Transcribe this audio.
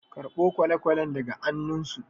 karɓo kwale-kwalen daga annunsu